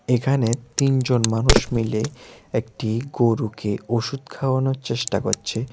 এখানে তিনজন মানুষ মিলে একটি গরুকে ওষুধ খাওয়ানোর চেষ্টা করছে।